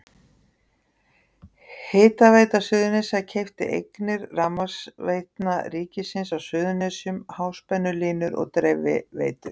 Hitaveita Suðurnesja keypti eignir Rafmagnsveitna ríkisins á Suðurnesjum, háspennulínur og dreifiveitur.